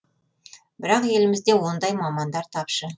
бірақ елімізде ондай мамандар тапшы